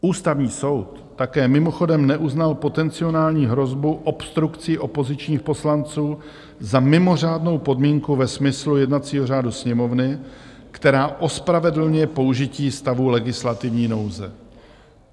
Ústavní soud také mimochodem neuznal potenciální hrozbu obstrukcí opozičních poslanců za mimořádnou podmínku ve smyslu jednacího řádu Sněmovny, která ospravedlňuje použití stavu legislativní nouze.